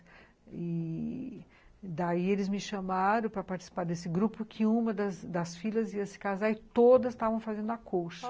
E daí eles me chamaram para participar desse grupo que uma das filhas ia se casar e todas estavam fazendo a colcha.